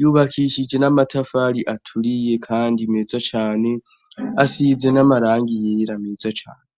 Yubakishije n'amatafari aturiye kandi meza cane asize n'amarangi yera meza cane.